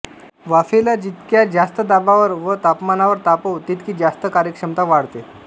वाफेला जितक्या जास्त दाबावर व तापमानावर तापवू तितकी जास्त कार्यक्षमता वाढते